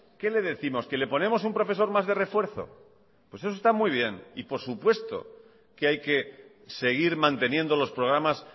qué le décimos que le ponemos un profesor más de refuerzo pues eso está muy bien y por supuesto que hay que seguir manteniendo los programas